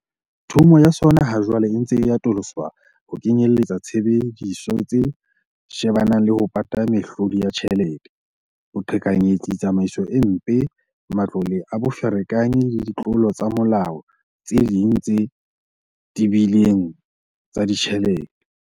Thomo ya sona ha jwale e ntse e atoloswa ho kenyelletsa tshebediso tse shebana le ho pata mehlodi ya tjhelete, boqhekanyetsi, tsamaiso e mpe, matlole a boferekanyi le ditlolo tsa molao tse ding tse tebileng tsa ditjhelete.